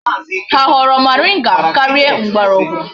Ha ahoro moringa karia mgborogwu?